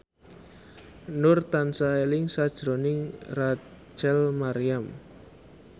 Nur tansah eling sakjroning Rachel Maryam